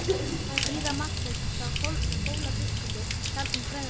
Síra Marteinn sá Hólabiskupi sjaldan bregða fyrir.